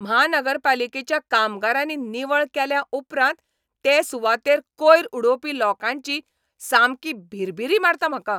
म्हानगरपालिकेच्या कामगारांनी निवळ केल्या उपरांत ते सुवातेर कोयर उडोवपी लोकांची सामकी भिरभिरी मारता म्हाका.